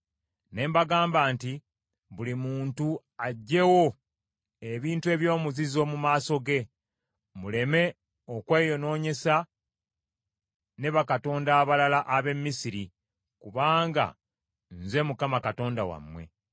Ne mbagamba nti, “Buli muntu aggyewo ebintu eby’omuzizo mu maaso ge, muleme okweyonoonyesa ne bakatonda abalala ab’e Misiri, kubanga nze Mukama Katonda wammwe.”